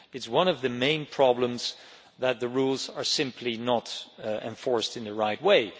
One of the main problems is that the rules are simply not enforced in the right way.